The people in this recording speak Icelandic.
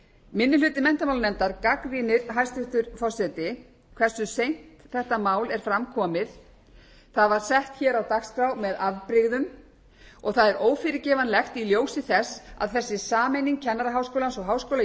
minni hluti menntamálanefndar gagnrýnir hæstvirtur forseti hversu seint þetta mál er fram komið það var sett hér á dagskrá með afbirðgum og það er ófyrirgefanlegt í ljósi þess að þessi sameining kennaraháskólans og háskóla